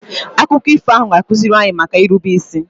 Akụkọ ifo ahụ ga-akụziri anyị maka irube isi